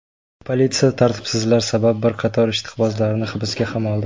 Politsiya tartibsizlar sabab bir qator ishqibozlarni hibsga ham oldi.